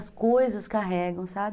As coisas carregam, sabe